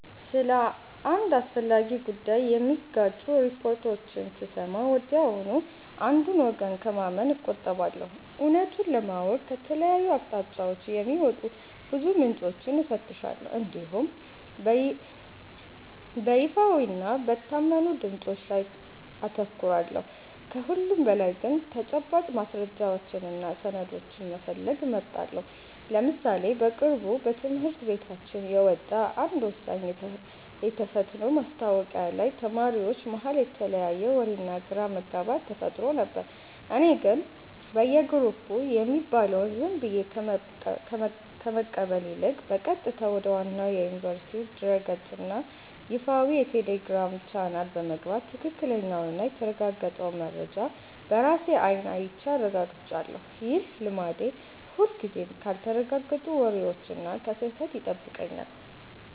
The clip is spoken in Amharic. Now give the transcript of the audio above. ስለ አንድ አስፈላጊ ጉዳይ የሚጋጩ ሪፖርቶችን ስሰማ ወዲያውኑ አንዱን ወገን ከማመን እቆጠባለሁ። እውነቱን ለማወቅ ከተለያዩ አቅጣጫዎች የሚወጡ ብዙ ምንጮችን እፈትሻለሁ እንዲሁም በይፋዊና በታመኑ ድምፆች ላይ አተኩራለሁ። ከሁሉም በላይ ግን ተጨባጭ ማስረጃዎችንና ሰነዶችን መፈለግ እመርጣለሁ። ለምሳሌ በቅርቡ በትምህርት ቤታችን የወጣ አንድ ወሳኝ የተፈትኖ ማስታወቂያ ላይ ተማሪዎች መሃል የተለያየ ወሬና ግራ መጋባት ተፈጥሮ ነበር። እኔ ግን በየግሩፑ የሚባለውን ዝም ብዬ ከመቀበል ይልቅ፣ በቀጥታ ወደ ዋናው የዩኒቨርሲቲው ድረ-ገጽና ይፋዊ የቴሌግራም ቻናል በመግባት ትክክለኛውንና የተረጋገጠውን መረጃ በራሴ አይን አይቼ አረጋግጫለሁ። ይህ ልማዴ ሁልጊዜም ካልተረጋገጡ ወሬዎችና ከስህተት ይጠብቀኛል።